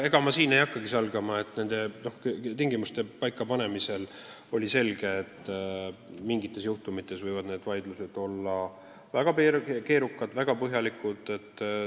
Ega ma ei hakka salgama, et nende tingimuste paika panemisel oli selge, et mingite juhtumite korral võivad vaidlused olla väga keerukad ja nõuavad väga põhjalikku tegelemist.